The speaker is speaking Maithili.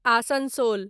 आसनसोल